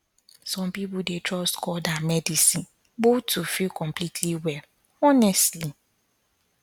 some people dey trust god and medicine both to feel completely well honestly